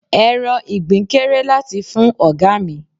Ẹran Ìgbín kéré láti fún ọ̀gá mi.